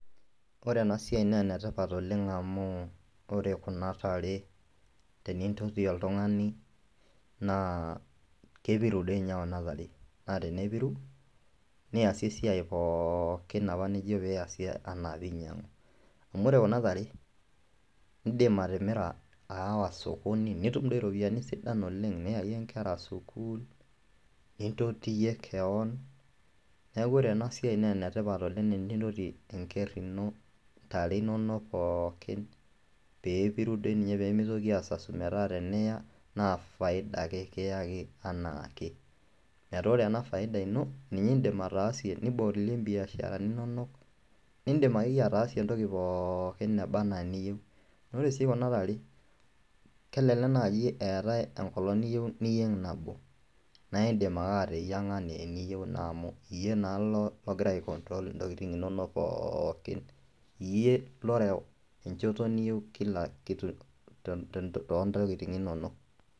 Ore ena siai nee ene tipat oleng' amu ore kuna tare tenintoti oltung'ani naa kepiru doi inye kuna tare naa tenepiru niasie esiai pookin apa nijo piasie anaa piinyang'u. Amu ore kuna tare, iindim atimira aawa sokoni nitum doi iropiani sidan oleng' niyayie nkera sukuul, nintotiyie keon, neeku ore ena siai nee ene tipat oleng' enintoti enker ino, ntare inonok pookin pee epiru doi ninye pee mitoki aasasu metaa teniya naa faida ake kiyaki anaake, metaa ore ena faida ino ninye iindim ataasie nibolie mbiasharani inonok, niindim akeyie ataasie entoki pookin naba naa eniyeu. Ore sii kuna tare, kelelek naaji eetai enkolong' niyeu niyeng' nabo nae indim ake ateyiang'a nee eniyeu amu iye naa lo logira aicontrol ntokitin inonok pookin, iye loreu enchoto niyeu kila kitu to to too ntokitin inonok.